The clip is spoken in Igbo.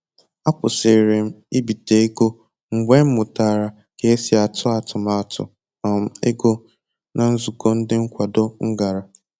Akwụsịrị m ibite ego mgbe m mụtara ka esi atụ atụmatụ um ego na nzụkọ ndi nkwado m gara